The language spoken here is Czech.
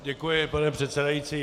Děkuji, pane předsedající.